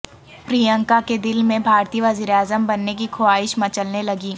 پریانکا کے دل میں بھارتی وزیراعظم بننے کی خواہش مچلنے لگی